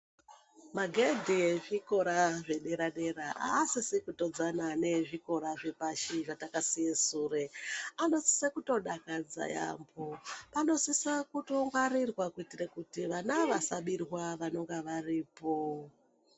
Magedhe ekuzvikora zvedera-dera aasisi kutodzana neezvikora zvepashi zvatakasiye sure, anosise kutodakadza yaambo, anosisa kutongwarirwa kuitira kuti vana vasabirwa vanonga varipo.